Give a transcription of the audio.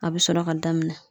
A be sɔrɔ ka daminɛ